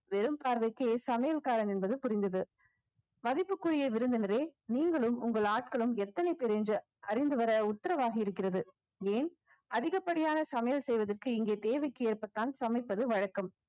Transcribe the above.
வெறும் பார்வைக்கே சமையல்காரன் என்பது புரிந்தது மதிப்புக்குரிய விருந்தினரே நீங்களும் உங்கள் ஆட்களும் எத்தனை பிரிஞ்சு அறிந்து வர உத்தரவாகி இருக்கிறது ஏன் அதிகப்படியான சமையல் செய்வதற்கு இங்கே தேவைக்கு ஏற்ப தான் சமைப்பது வழக்கம்